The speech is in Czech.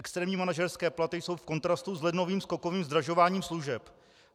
Externí manažerské platy jsou v kontrastu s lednovým skokovým zdražováním služeb.